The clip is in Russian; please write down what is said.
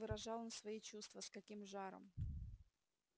как выражал он свои чувства с каким жаром